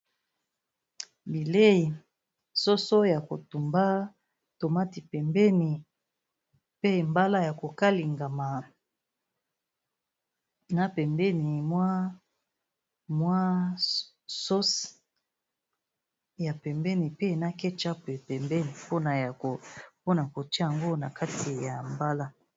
Bileyi soso ya kotumba, tomate pembeni, pe mbala ya ko kalingama, na pembeni ma mwa sauce ya pembeni, pe na ketchup pembeni pona kotia yango na kati ya mbala.